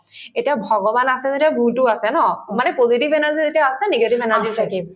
এতিয়া ভগৱান আছে যদিও ভূতো আছে ন মানে positive energy যেতিয়া আছে negative energy ও